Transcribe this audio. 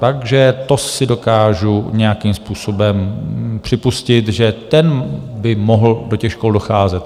Takže to si dokážu nějakým způsobem připustit, že ten by mohl do těch škol docházet.